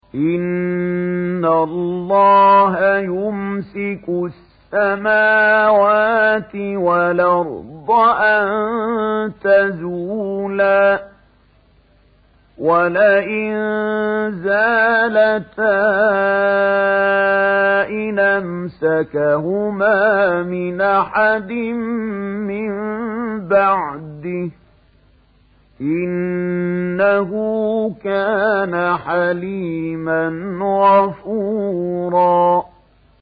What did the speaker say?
۞ إِنَّ اللَّهَ يُمْسِكُ السَّمَاوَاتِ وَالْأَرْضَ أَن تَزُولَا ۚ وَلَئِن زَالَتَا إِنْ أَمْسَكَهُمَا مِنْ أَحَدٍ مِّن بَعْدِهِ ۚ إِنَّهُ كَانَ حَلِيمًا غَفُورًا